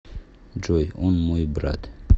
джой он мой брат